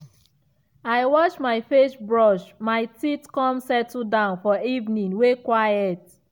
i wash my facebrush my teeth come settle down for evening way quiet.